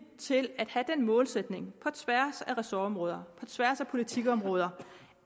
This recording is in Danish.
til at have den målsætning på tværs af ressortområder på tværs af politikområder